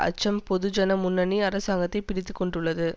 அச்சம் பொதுஜனமுன்னணி அரசாங்கத்தை பீடித்துக் கொண்டுள்ளது